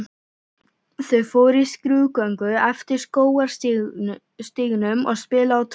Þau fóru í skrúðgöngu eftir skógarstígnum og spiluðu á trommur.